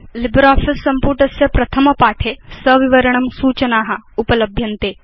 LibreOffice सम्पुटस्य प्रथम पाठे सविवरणं सूचना उपलभ्यन्ते